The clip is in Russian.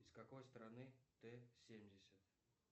из какой страны т семьдесят